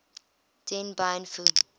dien bien phu